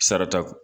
Sarata